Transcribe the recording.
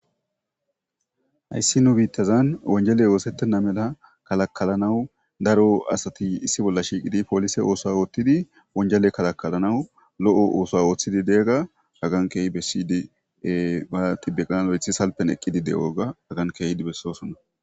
Hayssi nu biittazan wonjeley oosettenna mela kalakalanawu daro asati issi bolla shiiqidi poolise oosa oothtidi wonjele kalakalanawu lo7o ooso ooththidi deegga agan keehi bessidie baa ti beqqana lo7ethi salpen eqqidi de7oga agan keehdi bessosonna.